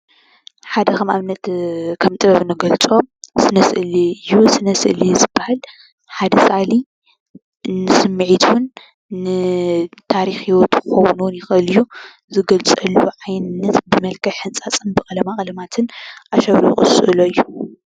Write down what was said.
ሓደ ከም ኣብነት ከም ጥበብ እንገልፆ ስነ-ስእሊ እዩ። ስነ-ስእሊ ዝባሃል ሓደ ሰኣሊ ንስሚዒቱን ንታሪክ ሂወቱን እውን ክኮን ይክአል ዝገልፀሉ ዓይነት ብመልክዕ ሕንፃፅን ብቀለማቀለምትን ኣሸብሪቁ ዝስእሎ እዩ።